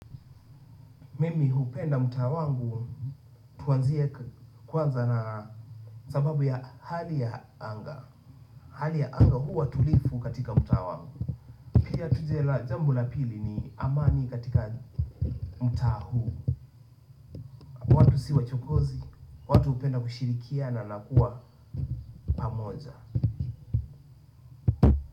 Mimi hupenda mtaa wangu, tuanzie kwanza na, sababu ya hali ya anga. Hali ya anga huwa tulivu katika mtaa wangu. Pia tuje la jambo la pili ni amani katika mtaa huu. Kwetu si wachokozi, watu hupenda kushirikiana na kuwa pamoja.